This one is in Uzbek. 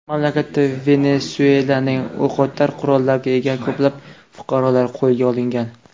Mamlakatda Venesuelaning o‘qotar qurolga ega ko‘plab fuqarolari qo‘lga olingan.